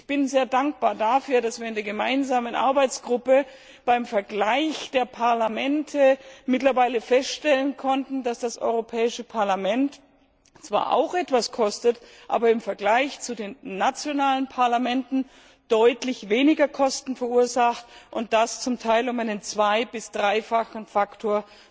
Ich bin sehr dankbar dafür, dass wir in der gemeinsamen Arbeitsgruppe beim Vergleich der Parlamente mittlerweile feststellen konnten, dass das Europäische Parlament zwar auch etwas kostet, aber im Vergleich zu den nationalen Parlamenten deutlich weniger Kosten verursacht, und das zum Teil um einen zwei bis dreifachen Faktor,